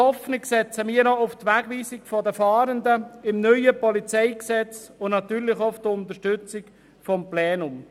Hoffnung setzen wir auch auf die Wegweisung von Fahrenden im neuen PolG und natürlich auch auf deren Unterstützung durch das Plenum.